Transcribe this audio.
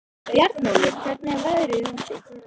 Bjarnólfur, hvernig er veðrið úti?